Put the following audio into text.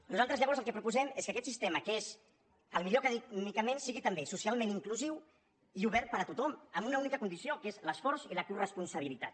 nosaltres llavors el que proposem és que aquest sistema que és el millor acadèmicament sigui també socialment inclusiu i obert per a tothom amb una única condició que és l’esforç i la coresponsabilitat